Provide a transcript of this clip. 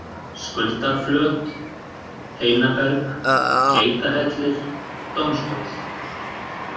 Skuldarflöt, Heinaberg, Geitahellir, Dómstóll